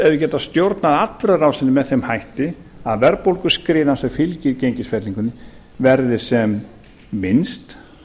geta stjórnað atburðarásinni með þeim hætti að verðbólguskriðan sem fylgir gengisfellingunni verði sem minnst